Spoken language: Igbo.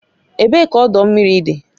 Ebee ka ọdọ mmiri dị?